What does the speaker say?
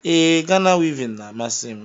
Ee, Ghana wivin n'amasi m